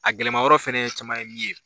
A gɛlɛma yɔrɔ fɛnɛ caman ye min ye.